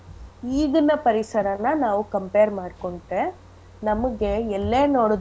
ಈಗಿನ ಪರಿಸರನ ನಾವ್ compare ಮಾಡ್ಕೊಂಡ್ರೆ ನಮಿಗೆ ಎಲ್ಲೇ ನೋಡುದ್ರುನೂ.